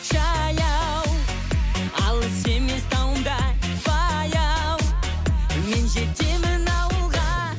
жаяу алыс емес тауың да баяу мен жетемін ауылға